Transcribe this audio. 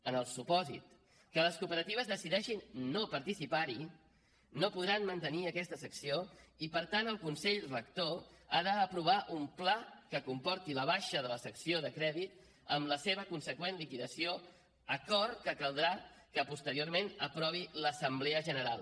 en el supòsit que les cooperatives decideixin no participar hi no podran mantenir aquesta secció i per tant el consell rector ha d’aprovar un pla que comporti la baixa de la secció de crèdit amb la seva consegüent liquidació acord que caldrà que posteriorment aprovi l’assemblea general